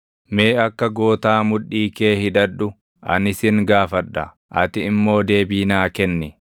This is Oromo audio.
Mee akka gootaa mudhii kee hidhadhu; ani sin gaafadha; ati immoo deebii naa kenni.